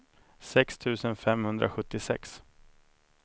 sex tusen femhundrasjuttiosex